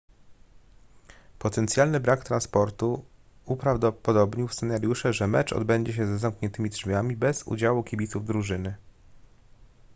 potencjalny brak transportu uprawdopodobnił scenariusze że mecz odbędzie się za zamkniętymi drzwiami bez udziału kibiców drużyny